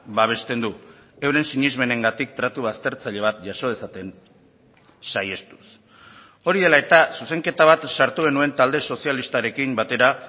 babesten du euren sinesmenengatik tratu baztertzaile bat jaso dezaten saihestuz hori dela eta zuzenketa bat sartu genuen talde sozialistarekin batera